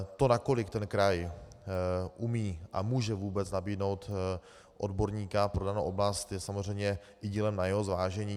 To, nakolik ten kraj umí a může vůbec nabídnout odborníka pro danou oblast, je samozřejmě dílem i na jeho zvážení.